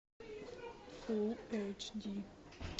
фул эйч ди